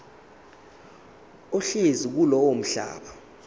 ohlezi kulowo mhlaba